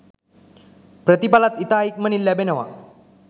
ප්‍රතිඵලත් ඉතා ඉක්මනින් ලැබෙනවා.